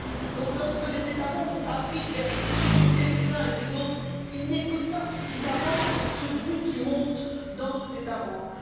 Donc, lorsque les États membres s'abritent derrière les difficultés des uns et des autres, ils n'écoutent pas suffisamment ce bruit qui monte dans nos États membres.